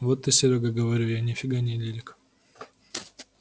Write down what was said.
вот ты серёга говорю я ни фига не лирик